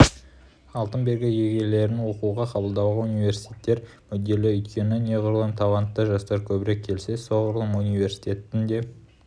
алтын белгі иегерлерін оқуға қабылдауға университеттер мүдделі өйткені неғұрлым талантты жастар көбірек келсе соғұрлым университеттің де